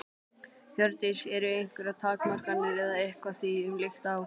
Hjördís: Eru einhverjar takmarkanir eða eitthvað því um líkt á?